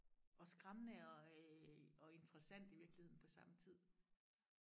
og skræmmende og øh og interessant i virkeligheden på samme tid